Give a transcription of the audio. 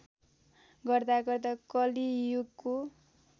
गर्दा गर्दा कलियुगको